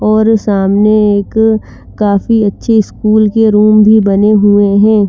ओर सामने एक काफी अच्छी स्कूल के रूम भी बने हुए है।